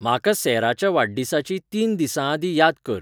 म्हाका सॅराच्या वाडदीसाची तीन दीसांआदीं याद कर